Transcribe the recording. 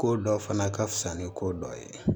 Ko dɔ fana ka fisa ni ko dɔ ye